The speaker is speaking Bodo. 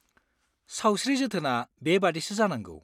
सावस्रि जोथोना बेबादिसो जानांगौ।